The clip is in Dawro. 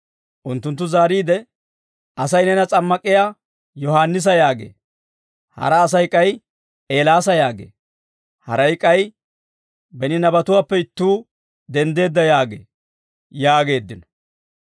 Unttunttu zaariide, «Asay neena s'ammak'iyaa Yohaannisa yaagee; hara Asay k'ay Eelaasa yaagee; haray k'ay beni nabatuwaappe ittuu denddeedda yaagee» yaageeddino.